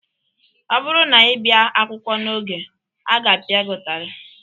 Ọ bụrụ na ị bịa akwụkwọ n'oge, a ga-apịa gị ụtarị.